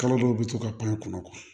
Kalo dɔw bɛ to ka pan kɔnɔ